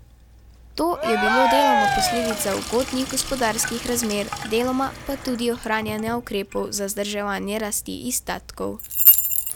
To je bilo deloma posledica ugodnih gospodarskih razmer, deloma pa tudi ohranjanja ukrepov za zadrževanje rasti izdatkov.